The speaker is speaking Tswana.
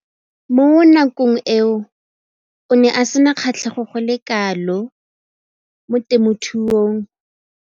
Mo nakong eo o ne a sena kgatlhego go le kalo mo temothuong.